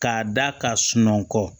K'a da ka sunɔgɔ